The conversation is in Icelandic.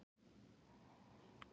Það sem kom öllu af stað